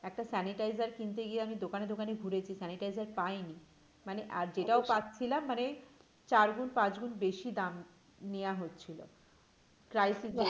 একটা sanitaizer কিনতে গিয়ে আমি দোকানে দোকানে ঘুরেছি sanitizer পায়নি মানে আর যেটাও পাচ্ছিলাম মানে চারগুন্ পাঁচগুণ বেশি দাম নেওয়া হচ্ছিল crisis এ